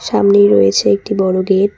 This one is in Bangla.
সামনেই রয়েছে একটি বড় গেট ।